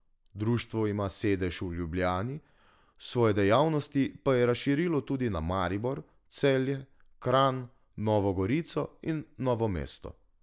Društvo ima sedež v Ljubljani, svoje dejavnosti pa je razširilo tudi na Maribor, Celje, Kranj, Novo Gorico in Novo mesto.